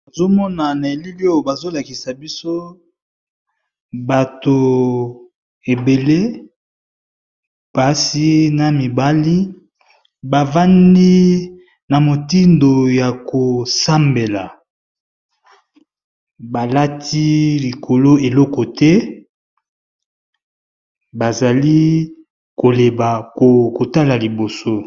Nazomona na elili oyo bazolakisa biso bato ebele pasi na mibali bavandi na motindo ya kosambela, balati likolo eloko te bazali koleba kotala liboso.